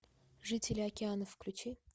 жители океанов включи